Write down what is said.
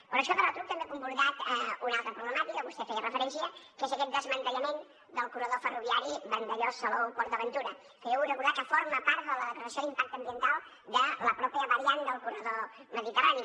però això de retruc també ha comportat una altra problemàtica vostè hi feia referència que és aquest desmantellament del corredor ferroviari vandellòs salou port aventura que jo vull recordar que forma part de la declaració d’impacte ambiental de la mateixa variant del corredor mediterrani